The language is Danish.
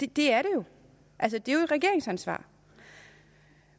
det er jo et regeringsansvar